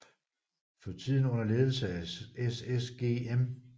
For tiden under ledelse af SSG M